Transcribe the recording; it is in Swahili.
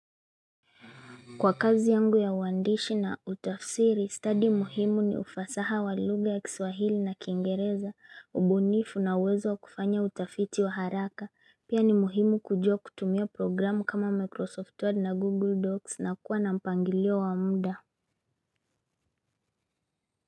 Kwa kazi yangu ya uandishi na utafsiri, stadi muhimu ni ufasaha walugha ya Kiswahili na Kiingereza, ubunifu na uwezo kufanya utafiti wa haraka, pia ni muhimu kujua kutumia programu kama Microsoft Word na Google Docs na kuwa na mpangilio wa muda.